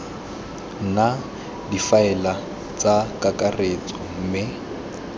nna difaele tsa kakaretso mme